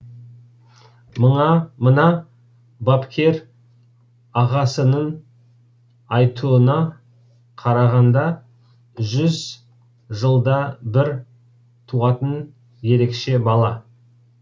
мына бапкер ағасының айтуына қарағанда жүз жылда бір туатын ерекше бала